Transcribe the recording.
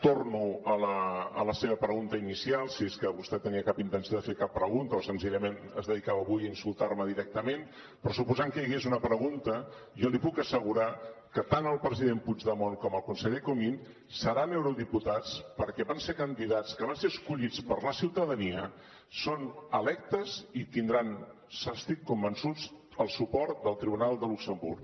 torno a la seva pregunta inicial si és que vostè tenia cap intenció de fer cap pregunta o senzillament es dedicava avui a insultar me directament però suposant que hi hagués una pregunta jo li puc assegurar que tant el president puigdemont com el conseller comín seran eurodiputats perquè van ser candidats que van ser escollits per la ciutadania són electes i tindran n’estic convençut el suport del tribunal de luxemburg